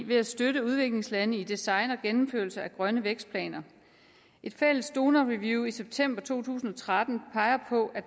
ved at støtte udviklingslande i design og gennemførelse af grønne vækstplaner et fælles donorreview i september to tusind og tretten peger på at